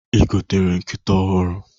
I gotere nkịta ọhụrụ?